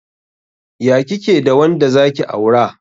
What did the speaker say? Ya kike da wanda zaki aura?